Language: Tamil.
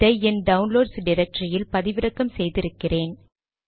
இதை என் டவுன்லோட்ஸ் டிரக்டரியில் பதிவிறக்கம் செய்திருக்கிறேன்